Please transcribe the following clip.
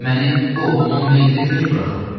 Məni oğlumun meyiti ilə tək buraxın.